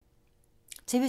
TV 2